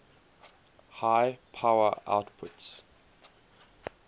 high power outputs